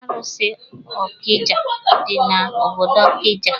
Arụsị Ọkija dị na-obodo Ọkija.